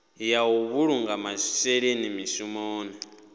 ya u vhulunga masheleni mushumoni